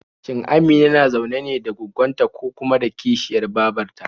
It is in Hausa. Shin Amina na zaune ne da gwaggon ta ko kuma kishiyar babar ta?